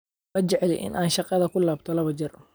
Ma jecli in aan shaqada kulabto labo jeer.